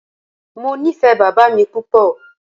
Mo nifẹ baba mi pupọ.